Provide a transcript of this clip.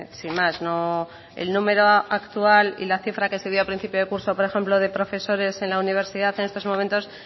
sin más el número actual y la cifra que se dio a principio de curso por ejemplo de profesores en la universidad en estos momentos